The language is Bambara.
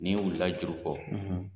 U y'i ɲinikka juru kɔ.